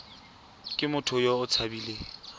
ke motho yo o tshabileng